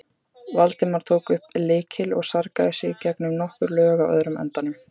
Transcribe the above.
Valdimar tók upp lykil og sargaði sig gegnum nokkur lög á öðrum endanum.